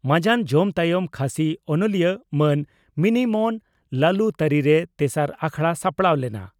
ᱢᱟᱡᱟᱱ ᱡᱚᱢ ᱛᱟᱭᱚᱢ ᱠᱷᱟᱥᱤ ᱚᱱᱚᱞᱤᱭᱟᱹ ᱢᱟᱹᱱ ᱢᱤᱱᱤᱢᱚᱱ ᱞᱟᱞᱩ ᱛᱟᱹᱨᱤᱨᱮ ᱛᱮᱥᱟᱨ ᱟᱠᱷᱲᱟ ᱥᱟᱯᱲᱟᱣ ᱞᱮᱱᱟ ᱾